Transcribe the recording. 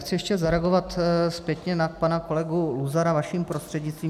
Chci ještě zareagovat zpětně na pana kolegu Luzara vaším prostřednictvím.